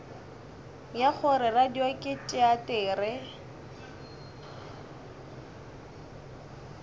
ya gore radio ke teatere